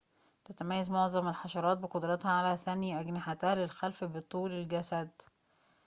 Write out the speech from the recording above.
تتميّز معظمُ الحشراتِ بقُدرتها على ثَني أجنحتِها للخلفِ بطولِ الجسدِ